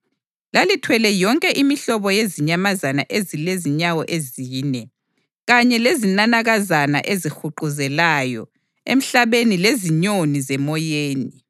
Lalithwele yonke imihlobo yezinyamazana ezilenyawo ezine, kanye lezinanakazana ezihuquzelayo emhlabeni lezinyoni zemoyeni.